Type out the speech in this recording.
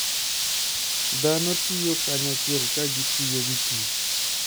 Dhano tiyo kanyachiel ka gitiyo gi kich.